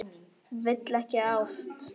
Vill ekki ást.